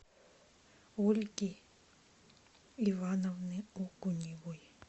ольги ивановны окуневой